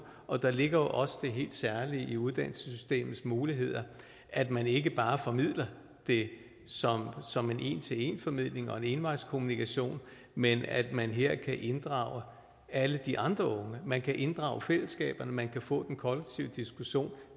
og der ligger også det helt særlige i uddannelsessystemets muligheder at man ikke bare formidler det som en en til en formidling og en envejskommunikation men at man her kan inddrage alle de andre unge man kan inddrage fællesskaberne man kan få den kollektive diskussion